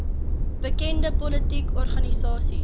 bekende politieke organisasies